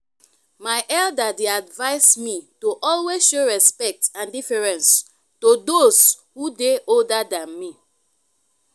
my elder dey advise me to always show respect and deference to those who dey older than me.